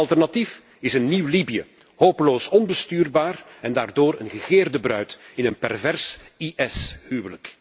Want het alternatief is een nieuw Libië, hopeloos onbestuurbaar en daardoor een begeerde bruid in een pervers IS huwelijk.